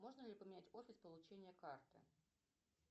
можно ли поменять офис получения карты